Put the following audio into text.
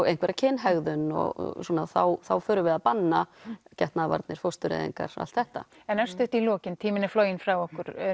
einhverja kynhegðun og svona þá förum við að banna getnaðarvarnir fóstureyðingar allt þetta en örstutt í lokin tíminn er floginn frá okkur